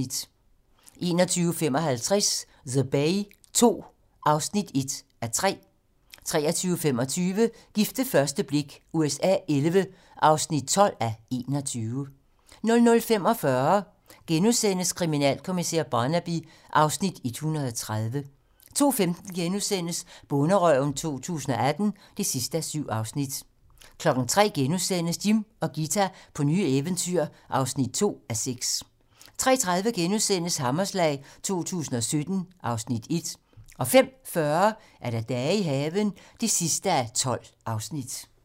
21:55: The Bay II (1:3) 23:25: Gift ved første blik USA XI (12:21) 00:45: Kriminalkommissær Barnaby (Afs. 130)* 02:15: Bonderøven 2018 (7:7)* 03:00: Jim og Ghita på nye eventyr (2:6)* 03:30: Hammerslag 2017 (Afs. 1)* 05:40: Dage i haven (12:12)